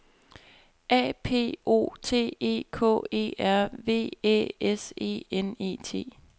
A P O T E K E R V Æ S E N E T